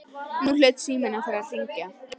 Nú hlaut síminn að fara að hringja.